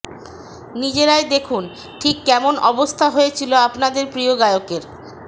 নিজেরাই দেখুন ঠিক কেমন অবস্থা হয়েছিল আপনাদের প্রিয় গায়কের